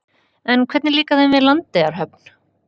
En hvernig líkar þeim við Landeyjahöfn?